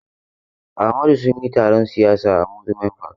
Amadu sun yi taron siyasa a Amusement park.